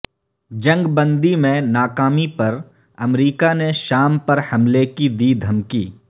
جنگ بندی میں ناکامی پر امریکہ نے شام پر حملے کی دی دھمکی